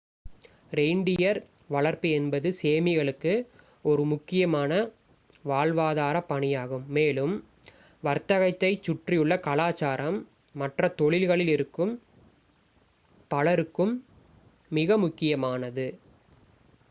reindeer வளர்ப்பு என்பது சேமிகளுக்கு ஒரு முக்கியமான வாழ்வாதாரப் பணியாகும் மேலும் வர்த்தகத்தைச் சுற்றியுள்ள கலாச்சாரம் மற்ற தொழில்களில் இருக்கும் பலருக்கும் மிக முக்கியமானது